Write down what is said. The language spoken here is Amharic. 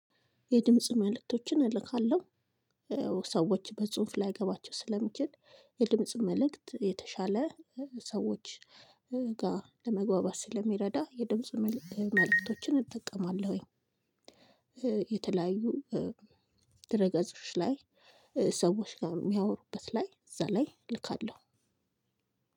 የድምጽ መልእክቶችን እልካለሁ ሰዎች በጽሁፍ ላይገባቸው ስለሚችል የድምጽ መልእክት የተሻለ ሰዎች ጋር ለመግባባት ስለሚረዳ የድምጽ መልእክቶችን እጠቀማለሁኝ። የተለያዩ ድረገጾች ላይ ሰዎች ጋር የሚያወሩበት ላይ እዛ ላይ እልካለሁ።